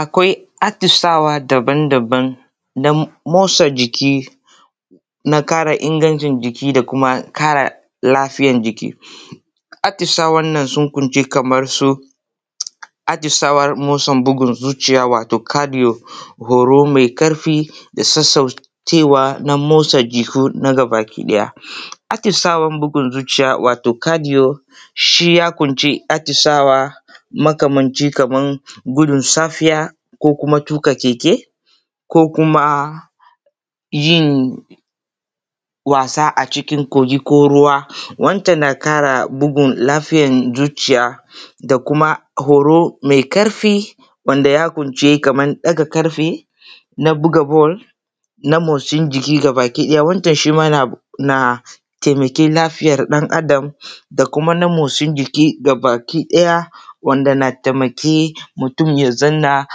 Akwai atishawa daban-daban. Motsajiki na ƙara ingancin jiki da ƙara lafiya jiki. Atishwa wannan sun kunshi kamar su atishawa matsin bugun zuciya wato kafiyo haro mai karfi da sauƙaƙa na matso jiki gaba ɗaya. Atishawar bugun zuciya wato cardio shi ya ƙunshi atishawa makamancin kamar wurin gudun safiya da kuma tuƙa keke, ko kuma yin wasa a cikin kogi ko ruwa wanda yana ƙara lafiyar zuciya da kuma horo mai karfi wansa ya ƙunshi kamar ɗaga ƙarfe da kuma buga ball na motsin jiki baki ɗaya. Wancen shi ma na taimakon lafiyar ɗan Adam da kuma na motsin jiki gaba ɗaya a taimaki mutum ya zauna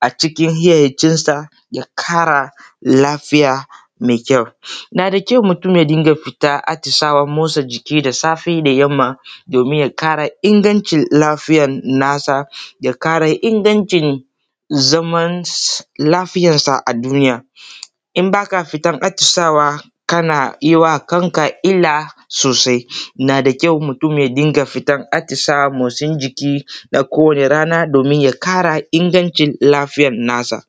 a cikin hayyacinsa ya kara lafiya mai ƙyau. Yana da ƙyau mutum ya dinga fita stisayen motsa jiki da safe ko da yamma domin ya kara ingancin lafiyar nasa ya ƙara ingancin zaman lafiyarsa a duniya. Idan ka ba fita atishawa kana yi wa kanka illa sosai. Yana da ƙyau mutum ya riƙa fita atisaye na motsa jiki kowanne rana domin ya ƙara ingancin lafiyar nasa.